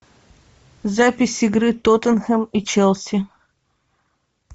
запись игры тоттенхэм и челси